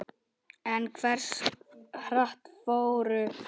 En hversu hratt fóru flóðin?